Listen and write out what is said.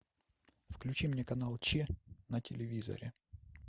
включи мне канал че на телевизоре